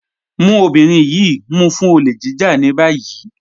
Mú ọbìnrin yìí mú fún òlè jíjà ní bayí.